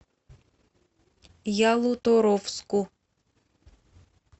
ялуторовску